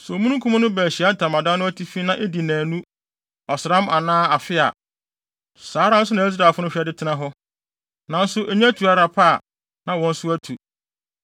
Sɛ omununkum no ba Ahyiae Ntamadan no atifi na edi nnaanu, ɔsram anaa afe a, saa nna no ara so na Israelfo no hwɛ de tena hɔ. Nanso enya tu ara pɛ a, na wɔn nso atu.